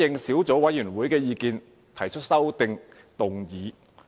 小組委員會舉行了兩次會議。